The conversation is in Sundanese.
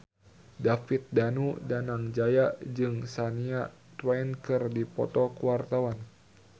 David Danu Danangjaya jeung Shania Twain keur dipoto ku wartawan